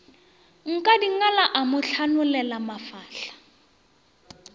nkadingala a mo hlanolela mafahla